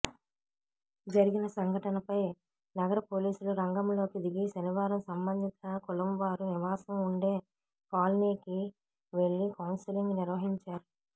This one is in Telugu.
జరిగిన సంఘటనపై నగర పోలీసులు రంగంలోకి దిగి శనివారం సంబంధిత కులంవారు నివాసం ఉండే కాలనీకి వేళ్ళి కౌన్సెలింగ్ నిర్వహించారు